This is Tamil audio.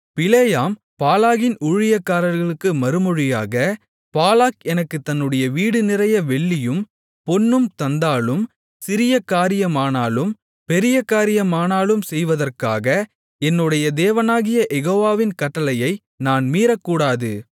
பிலேயாம் பாலாகின் ஊழியக்காரர்களுக்கு மறுமொழியாக பாலாக் எனக்குத் தன்னுடைய வீடு நிறைய வெள்ளியும் பொன்னும் தந்தாலும் சிறிய காரியமானாலும் பெரிய காரியமானாலும் செய்வதற்காக என்னுடைய தேவனாகிய யெகோவாவின் கட்டளையை நான் மீறக்கூடாது